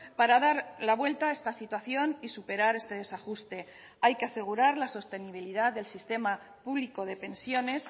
para dar la vuelta a esta situación y superar este desajuste hay que asegurar la sostenibilidad del sistema público de pensiones